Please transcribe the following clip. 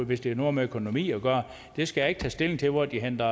hvis det har noget med økonomi at gøre jeg skal ikke tage stilling til hvor de henter